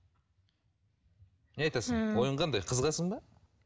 не айтасың ойың қандай қызығасың ба